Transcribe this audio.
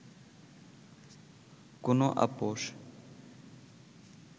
কোন আপোস